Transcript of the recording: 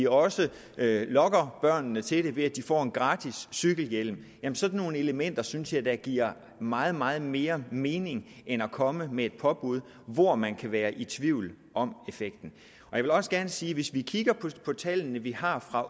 også at lokke børnene til det ved at de får gratis cykelhjelme men sådan nogle elementer synes jeg da giver meget meget mere mening end at komme med et påbud hvor man kan være i tvivl om effekten jeg vil også gerne sige at hvis vi kigger på de tal vi har for